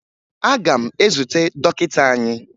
Aga m ezute dọkịta anyị